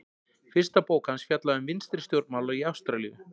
fyrsta bók hans fjallaði um vinstri stjórnmál í ástralíu